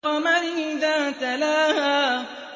وَالْقَمَرِ إِذَا تَلَاهَا